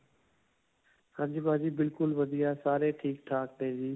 ਹਾਂਜੀ, ਭਾਜੀ ਬਿਲਕੁਲ ਵਧੀਆ ਸਾਰੇ ਠੀਕ-ਠਾਕ ਨੇ ਜੀ.